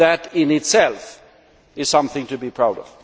That in itself is something to be proud of.